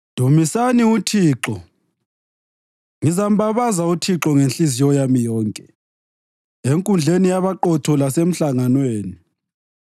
Dumisani uThixo. Ngizambabaza uThixo ngenhliziyo yami yonke enkundleni yabaqotho lasemhlanganweni.